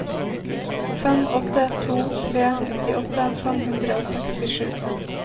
fem åtte to tre nittiåtte fem hundre og sekstisju